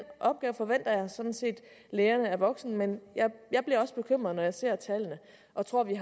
opgave forventer jeg sådan set lægerne er voksen men jeg bliver også bekymret når jeg ser tallene og tror at vi